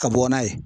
Ka bɔ n'a ye